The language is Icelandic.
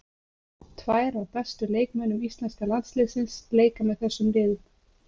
Tvær af bestu leikmönnum íslenska landsliðsins leika með þessum liðum.